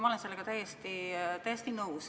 Ma olen sellega täiesti nõus.